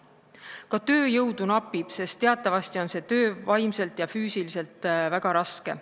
Napib tööjõudu, sest teatavasti on see töö vaimselt ja füüsiliselt väga raske.